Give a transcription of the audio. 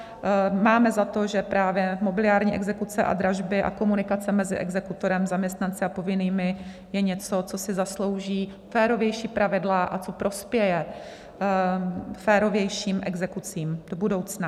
Máme za to, že právě mobiliární exekuce a dražby a komunikace mezi exekutorem, zaměstnanci a povinnými je něco, co si zaslouží férovější pravidla a co prospěje férovějším exekucím do budoucna.